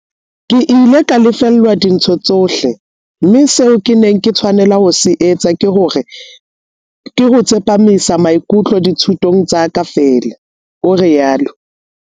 "Ke ile ka lefellwa dintho tsohle, mme seo ke neng ke tshwanela ho se etsa ke ho tsepamisa maikutlo dithutong tsa ka feela," o rialo.